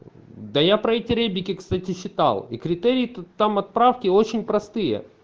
да я про эти ребики кстати считал и критерии там отправки очень простые